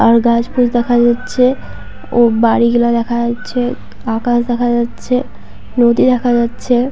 আর গাছগুলি দেখা যাচ্ছে ও বাড়ি গুলো দেখা যাচ্ছে। আকাশ দেখা যাচ্ছে নদী দেখা যাচ্ছে।